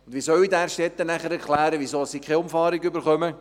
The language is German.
Wie soll ich den Därstettenern erklären, weshalb sie keine Umfahrung erhalten?